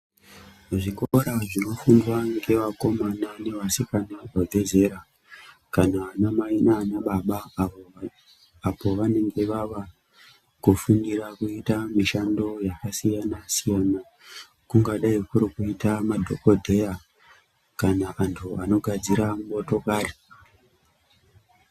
Zvikora zvinofundwa ngevakomana nevasikana vabve zera kana vanamai nanababa apo vanenge vava kufundira kuita mishando yakasiyana siyana kungadai kurikuita madhokodheya kana antu anogadzira motokari.